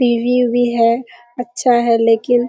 TV. उवी है अच्‍छा है लेकिन --